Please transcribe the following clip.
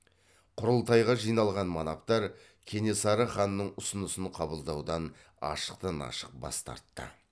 құрылтайға жиналған манаптар кенесары ханның ұсынысын қабылдаудан ашықтан ашық бас тартты